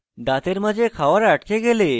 দাঁতের মাঝে খাওয়ার আটকে গেলে